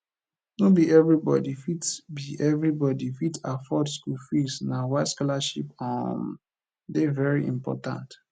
no be everybody fit be everybody fit afford school fees na why scholarship um dey very important